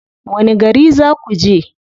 Wani gari za ku je?